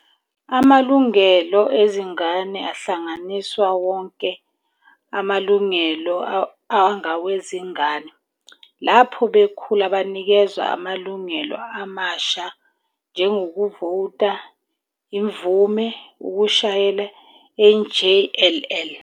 Amalungelo ezingane ahlanganisa wonke amalungelo angawezingane. Lapho bekhula banikezwa amalungelo amasha, njengokuvota, imvume, ukushayela, njll.